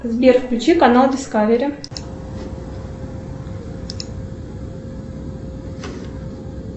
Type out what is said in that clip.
сбер включи канал дискавери